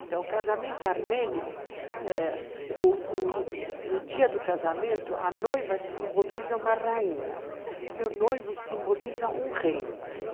Então, casamento armênio eh, no no dia do casamento, a noiva simboliza uma rainha e o noivo simboliza um rei.